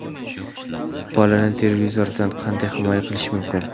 Bolani televizordan qanday himoya qilish mumkin?.